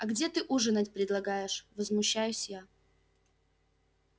а где ты ужинать предлагаешь возмущаюсь я